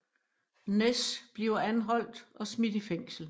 Ness bliver anholdt og smidt i fængsel